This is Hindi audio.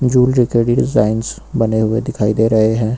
डिजाइंस बने हुए दिखाई दे रहे हैं।